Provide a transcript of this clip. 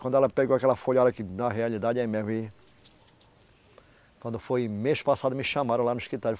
Quando ela pegou aquela folhada aqui, na realidade, é mesmo, vi Quando foi mês passado, me chamaram lá no escritório.